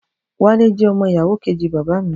Wálé jẹ́ ọmọ ìyàwó kejì bàbá mi